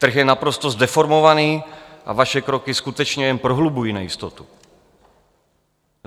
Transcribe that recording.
Trh je naprosto zdeformovaný a vaše kroky skutečně jen prohlubují nejistotu.